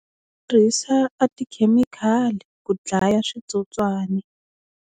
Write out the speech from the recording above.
Tirhisa a tikhemikhali ku dlaya switsotswani.